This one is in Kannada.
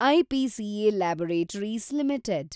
IPCA laboratories limited